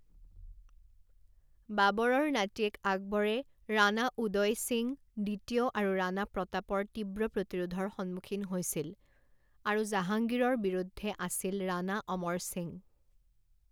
বাবৰৰ নাতিয়েক আকবৰে ৰাণা উদৈ সিং দ্বিতীয় আৰু ৰাণা প্ৰতাপৰ তীব্ৰ প্ৰতিৰোধৰ সন্মুখীন হৈছিল, আৰু জাহাংগীৰৰ বিৰুদ্ধে আছিল ৰাণা অমৰ সিং।